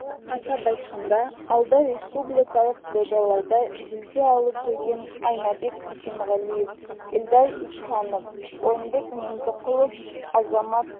атап айтқанда алды республикалық додаларда жүлде алып жүрген айнабек бисенғалиев эльдар ихсанов орынбек меңдіқұлов азамат